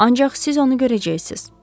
Ancaq siz onu görəcəksiniz.